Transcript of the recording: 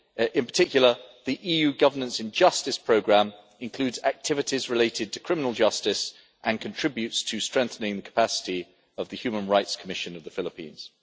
In particular, the EU Governance in Justice Programme includes activities related to criminal justice and contributes to strengthening the capacity of the Human Rights Commission of the Philippines.